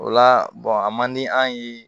O la a man di an ye